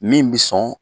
Min bi sɔn